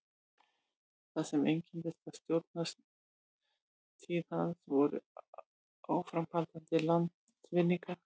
það sem einkenndi stjórnartíð hans voru áframhaldandi landvinningar